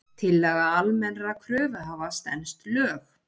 Tillaga almennra kröfuhafa stenst lög